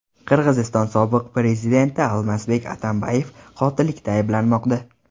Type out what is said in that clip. Qirg‘iziston sobiq prezidenti Almazbek Atambayev qotillikda ayblanmoqda.